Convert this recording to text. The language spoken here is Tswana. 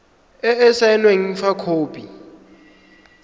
e e saenweng fa khopi